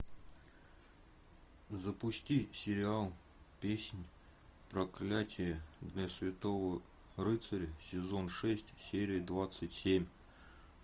запусти сериал песнь проклятие для святого рыцаря сезон шесть серия двадцать семь